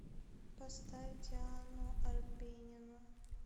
поставь диану арбенину